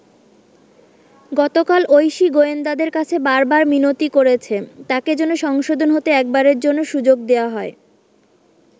গতকাল ঐশী গোয়েন্দাদের কাছে বার বার মিনতি করেছে, তাকে যেন সংশোধন হতে একবারের জন্য সুযোগ দেওয়া হয়।